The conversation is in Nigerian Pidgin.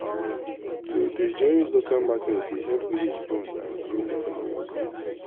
to dey join local market dey help village bond and grow economy.